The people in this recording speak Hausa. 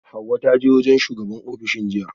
Hauwa ta je wajen shugabar ofishin jiya